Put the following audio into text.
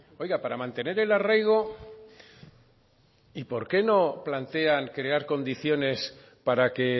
oiga para mantener el arraigo y por qué no plantean crear condiciones para que